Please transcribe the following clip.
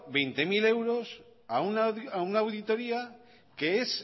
veinte mil euros a una auditoría que es